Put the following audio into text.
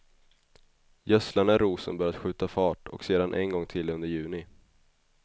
Gödsla när rosen börjar skjuta fart och sedan en gång till under juni.